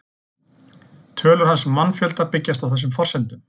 Tölur hans um mannfjölda byggjast á þessum forsendum.